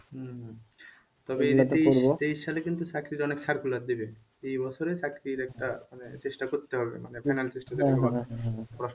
হম তবে তেইশ সালে কিন্তু চাকরির অনেক circulate দিবে এ বছরে চাকরির একটা মানে চেষ্টা করতে হবে মানে